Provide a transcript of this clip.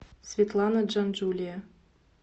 светлана джанджулия